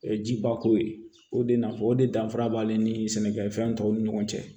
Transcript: Jiba ko ye o de nafa o de danfara b'ale ni sɛnɛkɛfɛn tɔw ni ɲɔgɔn cɛ